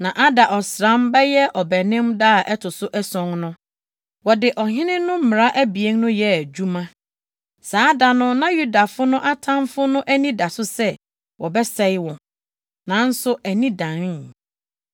Na Adar ɔsram (bɛyɛ Ɔbɛnem) da a ɛto so ason no, wɔde ɔhene no mmara abien no yɛɛ adwuma. Saa da no na Yudafo no atamfo no ani da so sɛ wɔbɛsɛe wɔn, nanso ani danee.